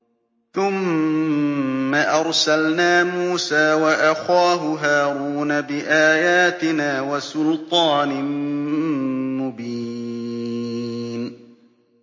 ثُمَّ أَرْسَلْنَا مُوسَىٰ وَأَخَاهُ هَارُونَ بِآيَاتِنَا وَسُلْطَانٍ مُّبِينٍ